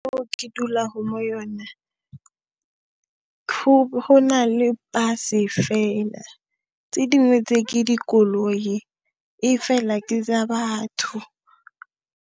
Moo ke dulago mo yone, ho, ho na le bus-e fela, tse dingwe tse, ke dikoloi, e fela ke tsa batho.